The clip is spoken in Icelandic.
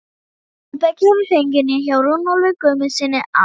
Þórbergur hefur fengið inni hjá Runólfi Guðmundssyni að